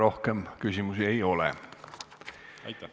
Rohkem küsimusi ei ole.